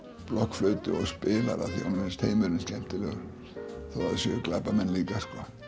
blokkflautu og spilar af því honum finnst heimurinn skemmtilegur þó að það séu glæpamenn líka